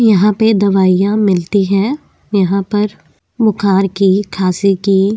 यहाँ पे दवाइयाँ मिलती हैं यहाँ पर बुखार की खांसी की --